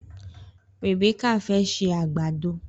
Rèbékà fẹ́ ṣe àgbàdo.